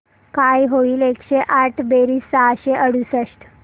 काय होईल एकशे आठ बेरीज सहाशे अडुसष्ट